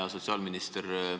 Hea sotsiaalminister!